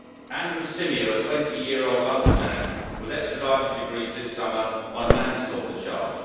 Andrew Symeou, a 20 year old London man, was extradited to Greece this summer on a manslaughter charge.